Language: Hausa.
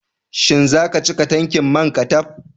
Shin zaka cika tanki manka taf?